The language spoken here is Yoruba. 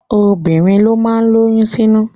Obìnrin ló má ń lóyún sínú